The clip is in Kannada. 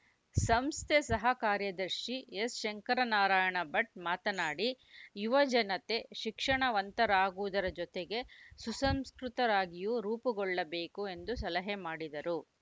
ಸಂಸ್ಥೆ ಸಹ ಕಾರ್ಯದರ್ಶಿ ಎಸ್‌ಶಂಕರನಾರಾಯಣ ಭಟ್‌ ಮಾತನಾಡಿ ಯುವಜನತೆ ಶಿಕ್ಷಣವಂತರಾಗುವುದರ ಜೊತೆಗೆ ಸುಸಂಸ್ಕೃತರಾಗಿಯೂ ರೂಪುಗೊಳ್ಳಬೇಕು ಎಂದು ಸಲಹೆ ಮಾಡಿದರು